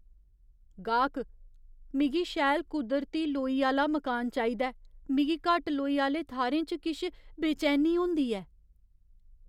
गाह्कः "मिगी शैल कुदरती लोई आह्‌ला मकान चाहिदा ऐ, मिगी घट्ट लोई आह्‌ले थाह्‌रें च किश बेचैनी होंदी ऐ।"